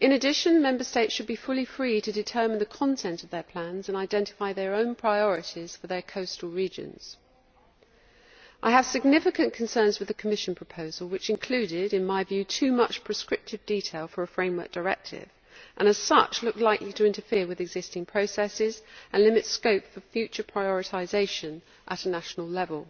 In addition, Member States should be fully free to determine the content of their plans and identify their own priorities for their coastal regions. I have significant concerns with the Commission proposal, which included, in my view, too much prescriptive detail for a framework directive and as such looked likely to interfere with existing processes and limit scope for future prioritisation at national level.